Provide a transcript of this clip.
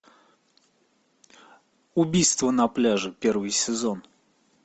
убийство на пляже первый сезон